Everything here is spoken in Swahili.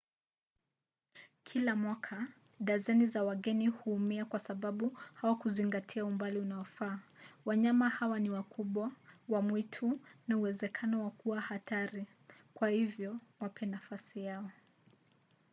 kila mwaka dazeni za wageni huumia kwa sababu hawakuzingatia umbali unaofaa. wanyama hawa ni wakubwa wa mwitu na uwezekano wa kuwa hatari kwa hivyo wape nafasi yao